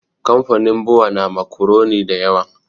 Kamfanin bua na makuroni da yawa